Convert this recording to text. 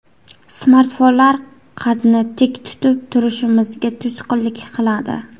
Smartfonlar qadni tik tutib turishimizga to‘sqinlik qiladi.